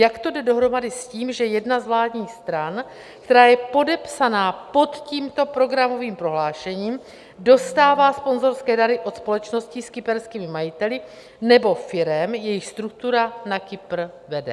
Jak to jde dohromady s tím, že jedna z vládních stran, která je podepsaná pod tímto programovým prohlášením, dostává sponzorské dary od společností s kyperskými majiteli, nebo firem, jejichž struktura na Kypr vede?